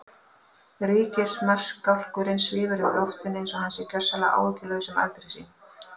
Ríkismarskálkurinn svífur um loftin einsog hann sé gjörsamlega áhyggjulaus um afdrif sín.